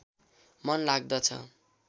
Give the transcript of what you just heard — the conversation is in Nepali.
मन लाग्दछ